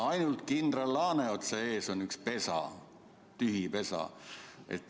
Ainult kindral Laaneotsa ees on üks pesa, tühi pesa.